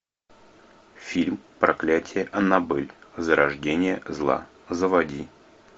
фильм проклятие аннабель зарождение зла заводи